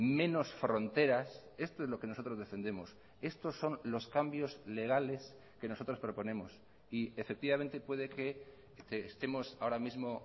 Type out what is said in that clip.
menos fronteras esto es lo que nosotros defendemos estos son los cambios legales que nosotros proponemos y efectivamente puede que estemos ahora mismo